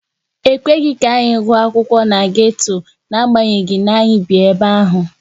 Ekweghị ka anyị gụọ akwụkwọ na geto n'agbanyeghị na anyị bi ebe ahụ.